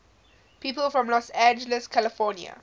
people from los angeles california